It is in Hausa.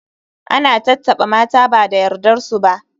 Ana tattaɓa mata ba da yardar su ba.